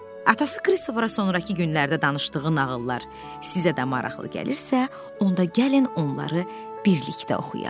Atası Krisifə sonrakı günlərdə danışdığı nağıllar sizə də maraqlı gəlirsə, onda gəlin onları birlikdə oxuyaq.